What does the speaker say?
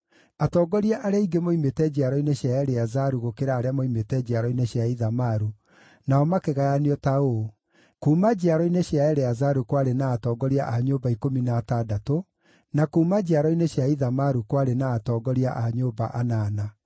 Atongoria arĩa aingĩ moimĩte njiaro-inĩ cia Eleazaru gũkĩra arĩa moimĩte njiaro-inĩ cia Ithamaru, nao makĩgayanio ta ũũ: kuuma njiaro-inĩ cia Eleazaru kwarĩ na atongoria a nyũmba ikũmi na atandatũ, na kuuma njiaro-inĩ cia Ithamaru kwarĩ na atongoria a nyũmba anana.